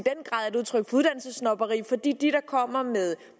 i der kommer med